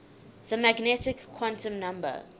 the magnetic quantum number